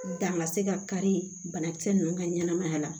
Dan ka se ka kari banakisɛ ninnu ka ɲɛnamaya la